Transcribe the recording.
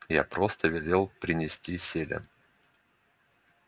я просто велел принести селен